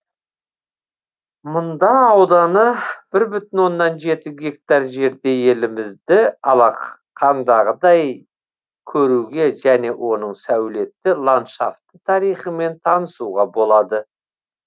мұнда ауданы бір бүтін оннан гектар жерде елімізді алақандағыдй көруге және оның сәулетті ландшафті тарихымен танысуға болады